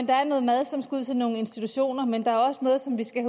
der er noget mad som skal ud til nogle institutioner men der er også noget som vi skal